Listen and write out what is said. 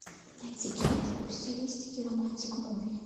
найди киношку в стилистике романтик муви